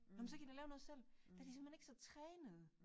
Jamen så kan I da lave noget selv. Der er de simpelthen ikke så trænede